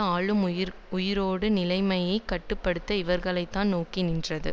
ஆளும் உயரடுக்கு நிலைமையை கட்டு படுத்த இவர்களைத்தான் நோக்கி நின்றது